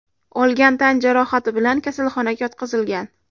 olgan tan jarohati bilan kasalxonaga yotqizilgan.